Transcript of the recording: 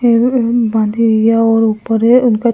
ऊपर है उनका छत हैं।